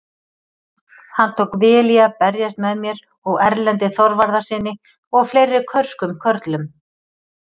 Hann tók vel í að berjast með mér og Erlendi Þorvarðarsyni og fleiri körskum körlum!